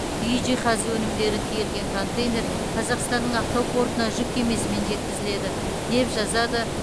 үй жиһазы өнімдері тиелген контейнер қазақстанның ақтау портына жүк кемесімен жеткізіледі деп жазады